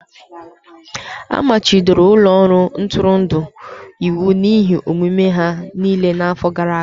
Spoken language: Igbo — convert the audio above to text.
A machibidoro ụlọ ọrụ ntụrụndụ iwu n'ihe omume ha niile n'afọ gara aga.